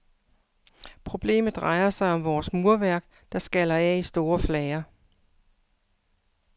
Problemet drejer sig om vores murværk, der skaller af i store flager.